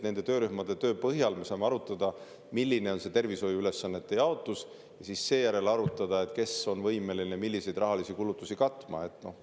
Nende töörühmade töö põhjal me saame arutada, milline on tervishoiuülesannete jaotus, ja seejärel, kes milliseid rahalisi kulutusi on võimeline katma.